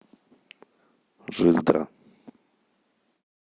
жиздра